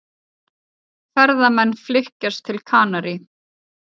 Ferðamenn flykkjast til Kanarí